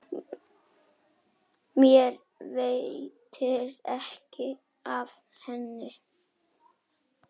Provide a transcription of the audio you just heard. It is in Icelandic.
Mér veitir ekki af henni.